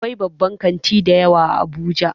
Akwai babban kanti dayawa a abuja